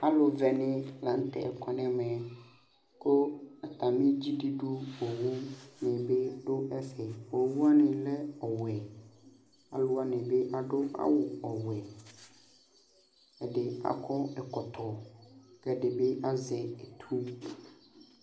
Alu vɛni la nu tɛ kɔ nu eme ku atami dzidudu owu fue bi du ɛfɛ Owuwani lɛ ɔwɛ Aluwani bi adu awu ɔwɛ Ɛdini akɔ ɛkɔtɔ ku ɛdi bi azɛ etu